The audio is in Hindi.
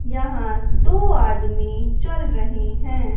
यहां दो आदमी चल रहें हैं।